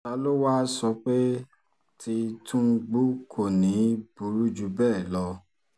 ta ló wáá sọ pé tí tìtúngbù kò ní í burú jù bẹ́ẹ̀ lọ